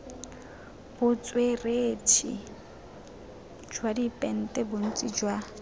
botsweretshi jwa dipente bontsi jwa